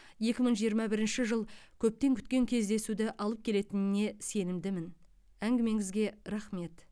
екі мың жиырма бірінші жыл көптен күткен кездесуді алып келетініне сенімдімін әңгімеңізге рақмет